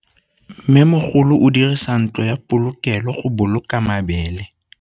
Mmêmogolô o dirisa ntlo ya polokêlô, go boloka mabele.